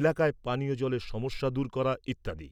এলাকায় পানীয় জলের সমস্যা দূর করা ইত্যাদি।